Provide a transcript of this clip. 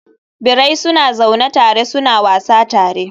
Birai suna zaune suna wasa tare.